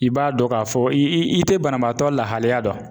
I b'a dɔn k'a fɔ i i te banabaatɔ lahalaya dɔn